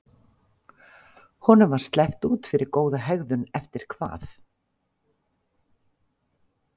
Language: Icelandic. Honum var sleppt út fyrir góða hegðun eftir hvað?